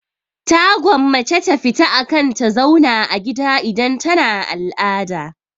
Ta gwammace ta fita akan ta zauna a gida idan tana al'ada.